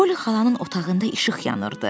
Polli xalanın otağında işıq yanırdı.